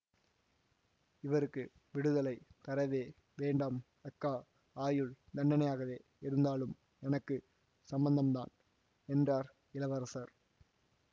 இவருக்கு விடுதலை தரவே வேண்டாம் அக்கா ஆயுள் தண்டனையாகவே இருந்தாலும் எனக்கு சம்மந்தந்தான் என்றார் இளவரசர்